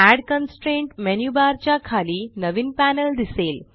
add constraint menu bar च्या खाली नवीन पॅनल दिसेल